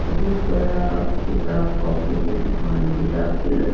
बहुत बड़ा किताब कॉपी की दुकान किताब की लग --